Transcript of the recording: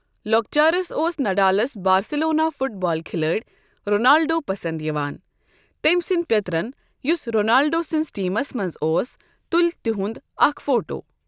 لۄکچارس اوس نَڈالَس بارسلونا فٹبال کھلٲڑۍ رونالڈو پَسَنٛد یِوان۔ تٔمؠ سٕنٛدؠ پیٔترَن، یُس رونالڈو سٕنٛزِ ٹیٖمَس مَنٛز اوس تُل تِہُنٛد اَکھ فوٹو۔